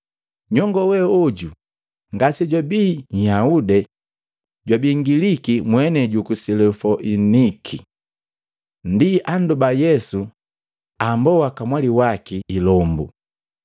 Nyongoo we oju ngase jwabi Nyahude jwabii Ngiliki mwenei juku Silofoiniki. Ndi andoba Yesu amboa kamwali waki ilombu.